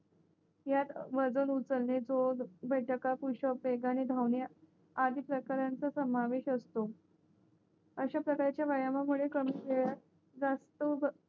यात वजन उचलणे जोर बैठका पुषप वेगाने धावणे आणि अधिक प्रकारचा समावेश असतो अशा प्रकारच्या व्यायाम मुळे कमी वेळात जास्त